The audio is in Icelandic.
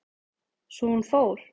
Svo hún fór.